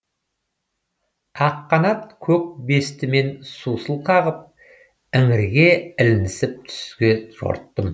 ақ қанат көк бестімен сусыл қағып іңірге ілінісіп түзге жорттым